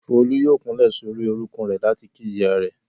Folú yóò kúnlẹ̀ sórí orúnkún rẹ̀ láti kí ìyá rẹ̀.